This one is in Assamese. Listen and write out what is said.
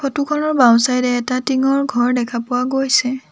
ফটো খনৰ বাওঁ চাইডে এটা টিংৰ ঘৰ দেখা পোৱা গৈছে।